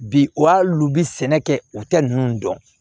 Bi wa hali u bɛ sɛnɛ kɛ u tɛ ninnu dɔn